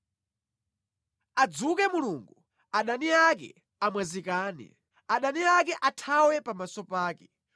Adzuke Mulungu, adani ake amwazikane; adani ake athawe pamaso pake.